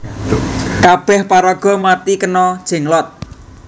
Kabeh paraga mati kena Jenglot